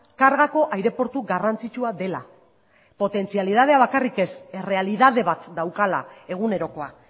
kargako aireportu garrantzitsua dela potentzialidadea bakarrik ez errealitate bat daukala egunerokoa